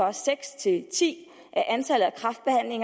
og seks til ti